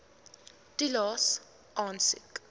toelaes aansoek